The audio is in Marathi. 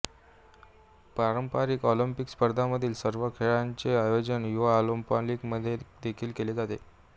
पारंपारिक ऑलिंपिक स्पर्धांमधील सर्व खेळांचे आयोजन युवा ऑलिंपिकमध्ये देखील केले जाते